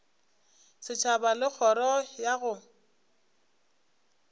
setšhaba le kgoro ya go